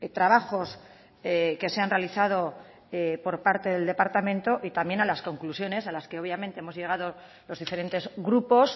trabajos que se han realizado por parte del departamento y también a las conclusiones a las que obviamente hemos llegado los diferentes grupos